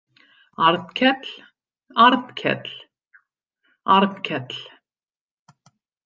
Arnkell, Arnkell, Arnkell.